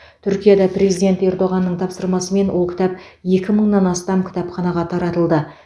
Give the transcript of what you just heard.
түркияда президент ердоғанның тапсырмасымен ол кітап екі мыңнан астам кітапханаға таратылды